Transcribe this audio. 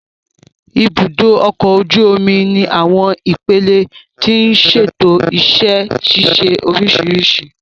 Ibùdó ọkọ̀ ojú omi ní àwọn ipele tí ń ṣètò iṣẹ́ ṣíṣe oríṣiríṣi